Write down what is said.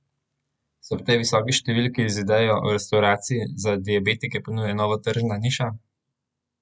Se ob tej visoki številki z idejo o restavraciji za diabetike ponuja nova tržna niša?